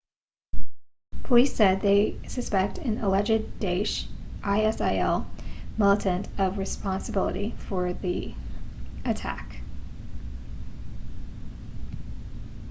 police said they suspect an alleged daesh isil militant of responsibility for the attack